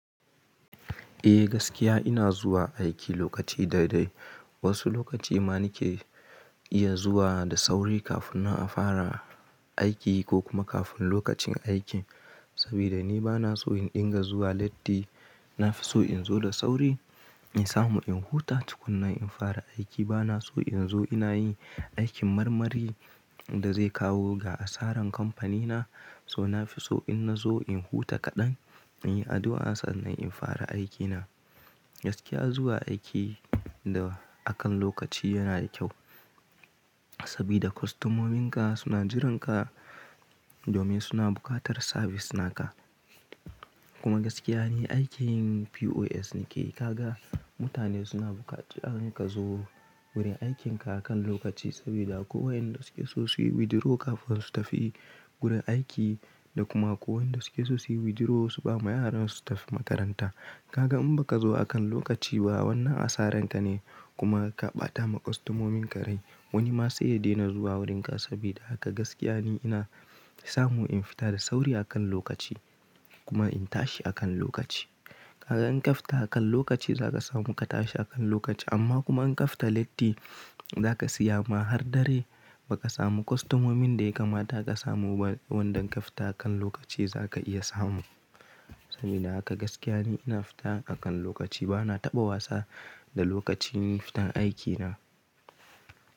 Eh gaskiya ina zuwa aiki lokaci daidai. Wasu lokaci ma nike iya zuwa da sauri kafin na fara aiki ko kuma kafin lokacin aiki. Saboda ni bana so in dinga zuwa latti, nafiso in zo da sauri in samu in huta tukuna in fara aiki. Bana so in zo ina yi aikin marmari da zai kawo ga asaran kamfanina. So nafiso in na zo in huta kaɗan, in yi addu'a sannan in fara aikina. Gaskiya zuwa aiki da akan lokaci yana da kyau saboda kwastomominka suna jiranka domin suna buƙatar service naka kuma gaskiya ne aikin POS nike kaga mutane suna bukata in ka zo wurin aikin ka akan lokaci saboda kowa inda suke sosai withdraw kafin su tafi gurin aiki da kuma kowa inda suke sosai withdraw su ba ma yaran su tafi makaranta. Kaga in ba ka zo akan lokaci ba wannan asaren ka ne kuma ka ɓata ma kwastomominka rai. Wani ma sai ya daina zuwa wurinka saboda haka gaskiya ne ina samu in fita da sauri akan lokaci kuma in tashi akan lokaci. Kaga in ka fita akan lokaci za ka samu ka tashi akan lokaci amma kuma in ka fita latti za ka siya ma har dare ba ka samu kwastomomin da ya kamata ka samu ba wanda in ka fita akan lokaci za ka iya samu. Saboda haka gaskiya ne ina fita akan lokaci bana taɓa wasa da lokacin fitan aikina.